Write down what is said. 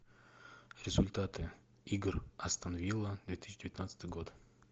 результаты игр астон вилла две тысячи девятнадцатый год